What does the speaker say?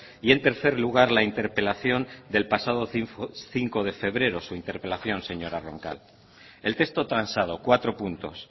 y en tercer lugar la interpelación del pasado cinco de febrero su interpelación señora roncal el texto transado cuatro puntos